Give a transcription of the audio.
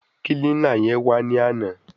Kílínà yẹn wá ní àná.